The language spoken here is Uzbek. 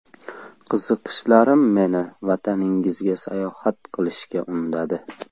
Qiziqishlarim meni vataningizga sayohat qilishga undadi.